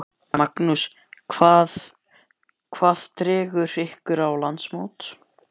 Magnús: Hvað dregur ykkur á landsmót?